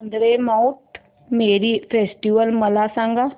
Vandre Mount Mary festival मला सांग